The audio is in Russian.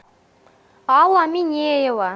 алла минеева